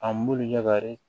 An b'olu ɲagari